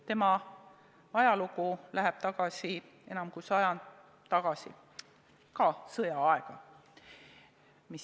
Selle ajalugu läheb enam kui sajand tagasi, ka sõjaaega.